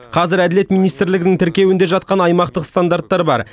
қазір әділет министрлігінің тіркеуінде жатқан аймақтық стандарттар бар